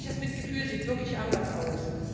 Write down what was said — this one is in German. Ehrliches Mitgefühl sieht wirklich anders aus.